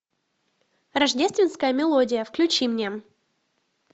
рождественская мелодия включи мне